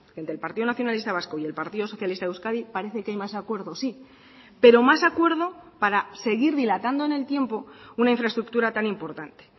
entre el partido nacionalista vasco y el partido socialista de euskadi parece que hay más acuerdo sí pero más acuerdo para seguir dilatando en el tiempo una infraestructura tan importante